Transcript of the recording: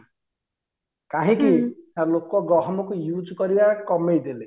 କାହିଁକି ନା ଲୋକ ଗହମ କୁ use କରିବା କମେଇଦେଲେ